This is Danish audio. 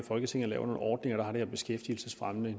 i folketinget laver nogle ordninger der har det her beskæftigelsesfremmende